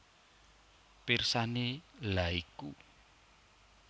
Pirsani lha iku